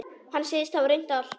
Hann segist hafa reynt allt.